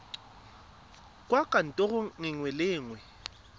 kwa kantorong nngwe le nngwe